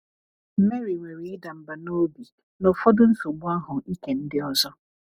MARY nwere ịda mbà n’obi na ụfọdụ nsogbu ahụ ike ndị ọzọ.